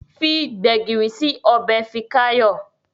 Fí gbegiri sí Ọbẹ̀ Fikayo.